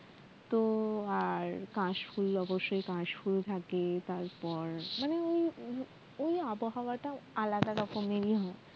তো আর কাশফুল অবশ্যই থাকে তারপর মানে এই এই আবহাওয়া টা আলাদা রকমেরই হয়